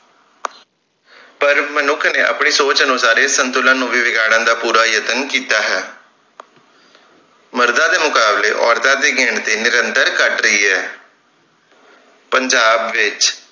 ਪਰ ਮਨੁੱਖ ਨੇ ਆਪਣੀ ਸੋਚ ਅਨੁਸਾਰ ਇਸ ਸੰਤੁਲਨ ਨੂੰ ਵੀ ਵਿਗਾੜਨ ਦਾ ਪੂਰਾ ਯਤਨ ਕੀਤਾ ਹੈ ਮਰਦਾਂ ਦੇ ਮੁਕਾਬਲੇ ਔਰਤਾਂ ਦੀ ਗਿਣਤੀ ਨਿੰਰਤਰ ਘੱਟ ਰਹੀ ਹੈ ਪੰਜਾਬ ਵਿਚ